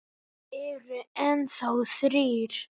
Þeir eru enn þá þrír.